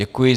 Děkuji.